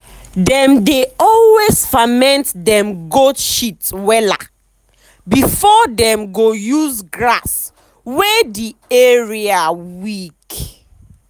dem dey always ferment dem goat shit wella before dem go use grass wey the area weak.